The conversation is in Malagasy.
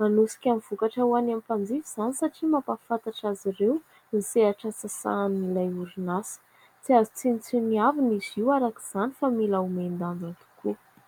manosika ny vokatra ho any amin'ny mpanjifa izany satria mampahafantatra azy ireo ny sehatra sahanin'ilay orinasa, tsy azo tsinotsiniavina ny heviny izy io araka izany fa mila homen-danja tokoa.